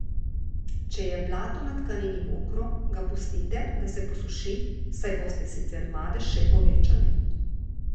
Če je blato na tkanini mokro, ga pustite, da se posuši, saj boste sicer madež še povečali.